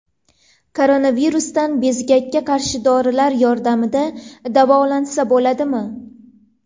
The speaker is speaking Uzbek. Koronavirusdan bezgakka qarshi dorilar yordamida davolansa bo‘ladimi?.